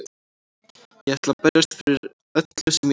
Ég ætla að berjast fyrir öllu sem ég á.